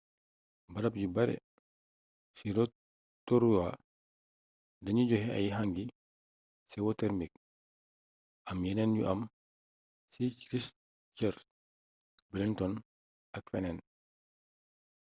barab yu bare ci rotorua danuy joxe ay hangi sewotermik am yeneen yu am ci christchurch wellington ak feneen